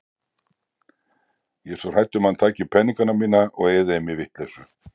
Ég er svo hrædd um að hann taki peningana mína og eyði þeim í vitleysu.